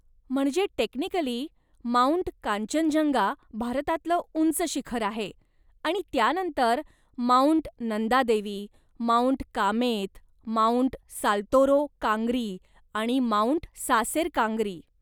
म्हणजे, technically, Mount Kangchenjunga भारतातलं उंच शिखर आहे आणि त्यानंतर Mount Nanda Devi, Mount Kamet, Mount Saltoro Kangri आणि माउंट सासेर कांग्री.